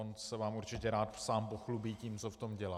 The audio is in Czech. On se vám určitě rád sám pochlubí tím, co v tom dělá.